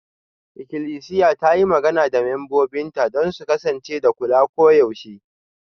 Ikilisiya ta yi magana da membobinta don su kasance da kula koyaushe.